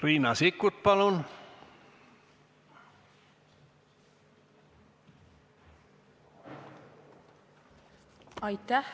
Riina Sikkut, palun!